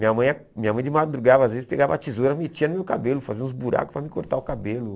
Minha mãe minha mãe de madrugada, às vezes, pegava a tesoura e metia no meu cabelo, fazia uns buracos para mim cortar o cabelo.